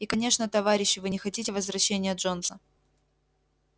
и конечно товарищи вы не хотите возвращения джонса